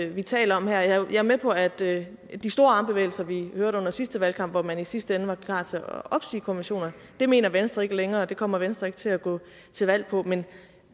vi taler om her jeg er med på at det med de store armbevægelser vi hørte under sidste valgkamp hvor man i sidste ende var klar til at opsige konventionerne mener venstre ikke længere og det kommer venstre ikke til at gå til valg på men